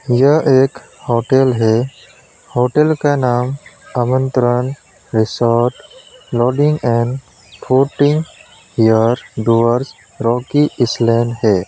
यह एक होटल है होटल का नाम Aamantran resort lodging and fooding here Dooars rocky island है।